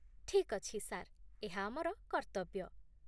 ଠିକ୍ ଅଛି ସାର୍, ଏହା ଆମର କର୍ତ୍ତବ୍ୟ।